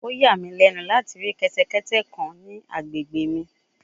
O ya mi lẹnu lati ri kẹtẹkẹtẹ kan ni agbegbe mi